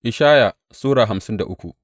Ishaya Sura hamsin da uku